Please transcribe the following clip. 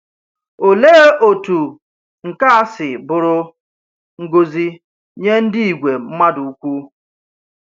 Olee otu nke a si bụrụ ngọzi nye ndị ìgwè mmadụ ukwu!